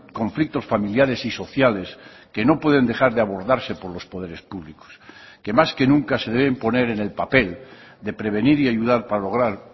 conflictos familiares y sociales que no pueden dejar de abordarse por los poderes públicos que más que nunca se deben poner en el papel de prevenir y ayudar para lograr